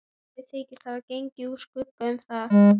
Þeir þykjast hafa gengið úr skugga um það.